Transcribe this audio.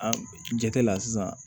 An jate la sisan